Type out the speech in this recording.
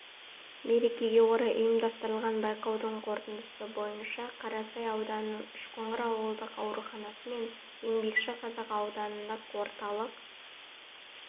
мерекеге орай ұйымдастырылған байқаудың қорытындысы бойынша қарасай ауданының үшқоңыр ауылдық ауруханасы мен еңбекші қазақ аудандық орталық